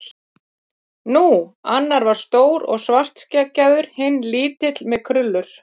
Nú. annar var stór og svartskeggjaður. hinn lítill með krullur.